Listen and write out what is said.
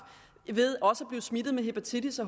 ved også at blive smittet med hepatitis